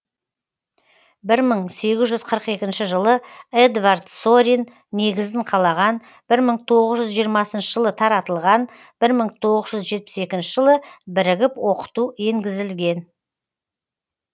бір мың сегіз жүз қырық екінші жылы эдвард сорин негізін қалаған бір мың тоғыз жүз жиырма жылы таратылған бір мың тоғыз жүз жетпіс екінші жылы бірігіп оқыту енгізілген